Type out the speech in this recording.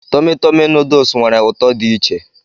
Tọmị Tọmị nuduls nwere ụtọ dị iche.